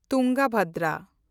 Tungabhadra